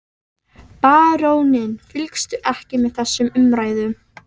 Baróninn fylgdist ekki með þessum umræðum.